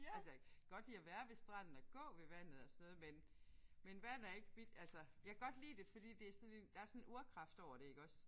Altså jeg kan godt lide at være ved stranden og gå ved vandet og sådan noget men men vand er ikke mit altså jeg kan godt lide det fordi det er sådan der er sådan en urkraft over det iggås